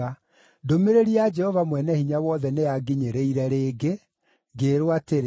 Ndũmĩrĩri ya Jehova Mwene-Hinya-Wothe nĩyanginyĩrire rĩngĩ, ngĩĩrwo atĩrĩ: